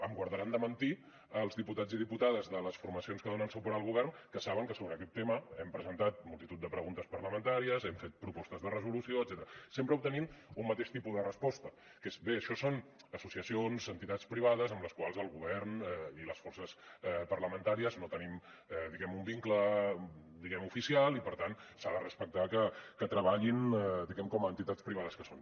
em guardaran de mentir els diputats i diputades de les formacions que donen suport al govern que saben que sobre aquest tema hem presentat multitud de preguntes parlamentàries hem fet propostes de resolució etcètera sempre obtenint un mateix tipus de resposta que és bé això són associacions entitats privades amb les quals el govern i les forces parlamentàries no tenim diguem ne un vincle oficial i per tant s’ha de respectar que treballin com a entitats privades que són